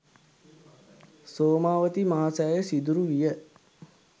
සෝමාවතී මහසෑය සිදුරු විය.